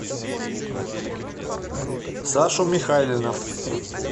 сашу михайлина